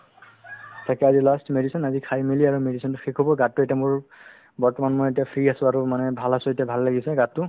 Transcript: তাকে আজি last medicine আজি খাই মেলি আৰু medicine তো শেষ হ'ব গাতো এতিয়া মোৰ বৰ্তমান মই এতিয়া free আছো আৰু মানে ভাল আছো এতিয়া ভাল লাগিছে গাতো